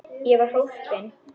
Ég var hólpin.